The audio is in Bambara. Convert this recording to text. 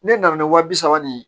Ne nana ni wa bi saba ni